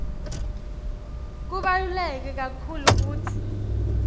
kubaluleke kakhulu kutsi